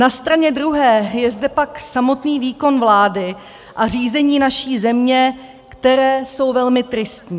Na straně druhé je zde pak samotný výkon vlády a řízení naší země, které jsou velmi tristní.